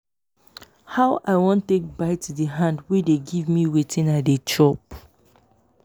how i wan take bite the hand wey dey give me wetin i dey chop